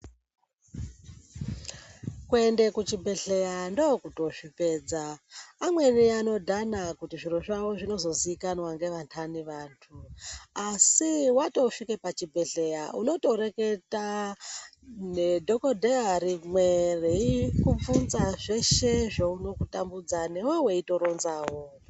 Kuende kuzvibhedhlera ndokutozvipedza amweni anodhana kuti zviro zvawo zvinozozikanwa ngeandani antu asi watosvika pachibhedhleya uno toreketa nedhokodheya rimwe reikubvunza zveshe zvino kutambudza newewo weitoronza wo